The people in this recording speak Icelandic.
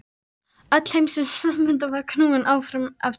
Öll heimsins framvinda var knúin áfram af tilviljunum.